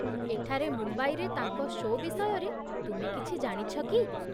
ଏଠାରେ ମୁମ୍ବାଇରେ ତାଙ୍କ ଶୋ' ବିଷୟରେ ତୁମେ କିଛି ଜାଣିଛ କି?